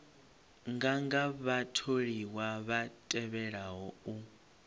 nganga vhatholiwa vha tevhelaho u